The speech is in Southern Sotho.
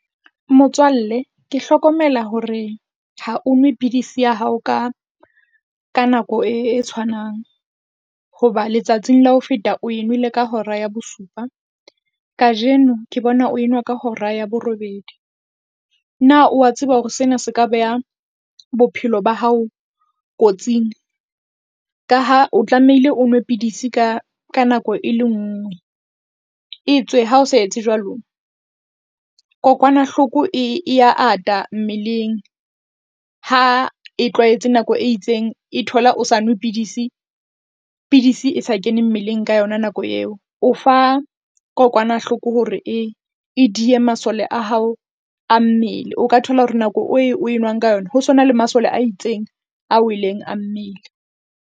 Motswalle ke hlokomela hore ha o nwe pidisi ya hao ka ka nako e, e tshwanang hoba letsatsing la ho feta oe nwele ka hora ya bosupa. Kajeno ke bona o enwa ka hora ya borobedi. Na wa tseba hore sena se ka beha bophelo ba hao kotsing? Ka ha o tlamehile o nwe pidisi ka ka nako e le nngwe e tswe ha o sa etse jwalo, kokwanahloko e, e ya ata mmeleng. Ha e tlwaetse nako e itseng, e thola o sa nwe pidisi. Pidisi e sa kene mmeleng ka yona nako eo o fa kokwanahloko hore e, e diye masole a hao a mmele. O ka thola hore nako e o enwang ka yona ho sona le masole a itseng, a weleng a mmele.